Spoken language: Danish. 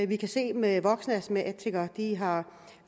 vi kan se med voksne astmatikere at de har